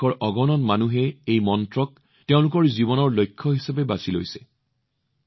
আমাৰ দেশৰ অগণন মানুহে এই মন্ত্ৰটোক তেওঁলোকৰ জীৱনৰ লক্ষ্য কৰি তুলিছে